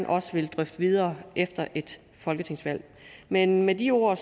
vil drøfte videre efter et folketingsvalg men med de ord